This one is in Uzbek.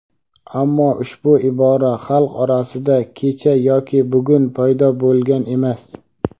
Ammo ushbu ibora xalq orasida kecha yoki bugun paydo bo‘lgan emas.